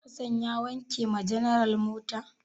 Hassan ya wanke wa general mota?